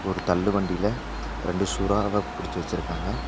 ஒரு தள்ளு வண்டில ரெண்டு சுறாவ புடிச்சு வச்சுருக்காங்க.